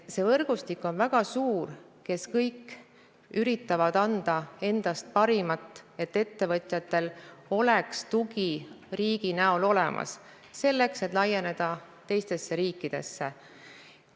Võrgustik kõigist neist, kes üritavad anda endast parima, et ettevõtjatel oleks riigi näol tugi olemas, et laieneda teistesse riikidesse, on väga suur.